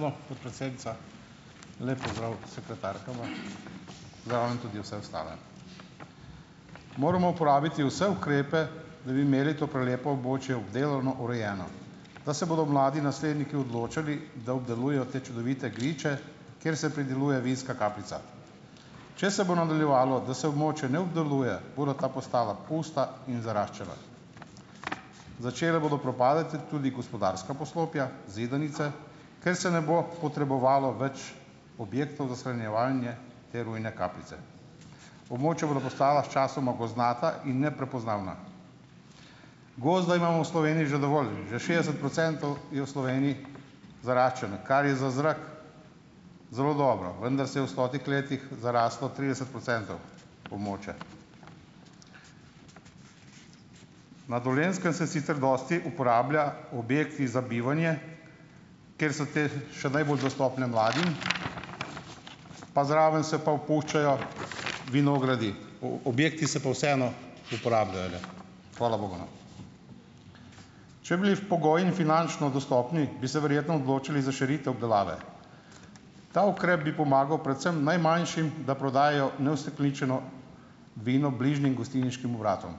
()edo, podpredsednica. Lep pozdrav sekretarkama, pozdravljam tudi vse ostale! Moramo uporabiti vse ukrepe, da bi imeli to prelepo območje obdelano, urejeno, da se bodo mladi nasledniki odločali, da obdelujejo te čudovite griče, kjer se prideluje vinska kapljica. Če se bo nadaljevalo, da se območij ne obdeluje, bodo ta postala pusta in zaraščena. Začela bodo propadati tudi gospodarska poslopja, zidanice, ker se ne bo potrebovalo več objektov za shranjevanje te rujne kapljice. Območja bodo postala sčasoma gozdnata in neprepoznavna. Gozda imamo v Sloveniji že dovolj, že šestdeset procentov je v Sloveniji zaraščeno, kar je za zrak zelo dobro, vendar se je v stotih letih zarastlo trideset procentov območja. Na Dolenjskem se sicer dosti uporabljajo objekti za bivanje, ker so ti še najbolj dostopni mladim, pa zraven se pa opuščajo vinogradi, objekti pa se vseeno uporabljajo, ne - hvala bogu, no. Če bli pogoji in finančno dostopni, bi se verjetno odločili za širitev obdelave, ta ukrep bi pomagal predvsem najmanjšim, da prodajajo neustekleničeno vino bližjim gostilniškim obratom.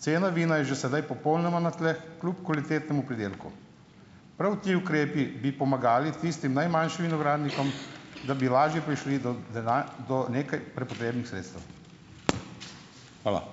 Cena vina je že sedaj popolnoma na tleh kljub kvalitetnemu pridelku. Prav ti ukrepi bi pomagali tistim najmanjšim vinogradnikom, da bi lažje prišli do do nekaj prepotrebnih sredstev. Hvala.